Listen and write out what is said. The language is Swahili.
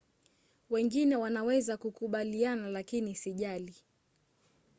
"wengine wanaweza kukubaliana lakini sijali